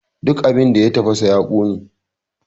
Duk abin da ya tafasa ya ƙone!